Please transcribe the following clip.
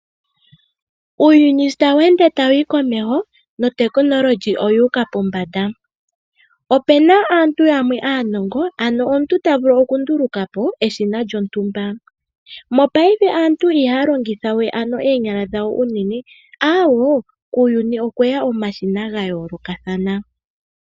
Uuyuni sho tawu ende tawuyi komeho nehumokomeho olyuuka pombanda. Opena aantu yamwe aanongo ano omuntu ta vulu okundulukapo eshina lyontumba . Mopaife aantu ihaya longithawe ano oonyala dhawo unene ,awoo kuuyuni okweya omashina gayoolokathana.